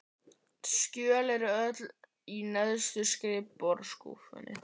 Skjölin eru öll í neðstu skrifborðsskúffunni.